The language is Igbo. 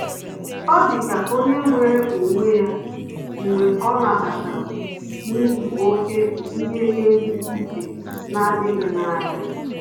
Ọ́ dịka ónyé nwere onwe ya mgbe ọ́ nàbatara na izu oke bụ́ ihe ezi uche nà-ádị́ghị́ na ya.